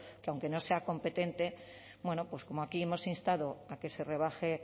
que aunque no sea competente bueno pues como aquí hemos instado a que se rebaje